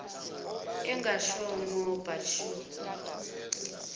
engashongo but sure